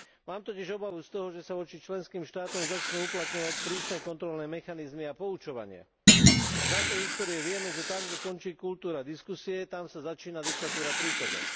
Mám totiž obavu z toho, že sa voči členským štátom začnú uplatňovať prísne kontrolné mechanizmy a poučovanie. Z našej histórie vieme, že tam, kde končí kultúra diskusie, tam sa začína diktatúra príkazov.